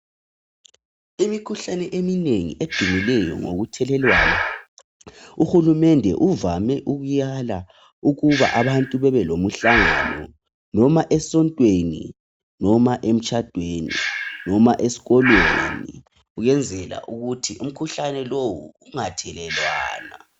Imikhuhlane eminengi edumileyo ngokuthelelwana uhulumende uvame ukuyala ukuba abantu babe lomhlangano noma esontweni noma emtshadweni noma eskolweni ,uyenzela ukuthi umkhuhlane lowu ungathelelwana.